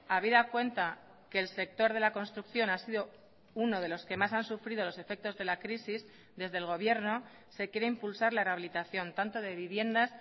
habida cuenta que el sector de la construcción ha sido uno de los que más han sufrido los efectos de la crisis desde el gobierno se quiere impulsar la rehabilitación tanto de viviendas